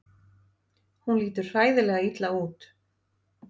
Hún lítur hræðilega illa út.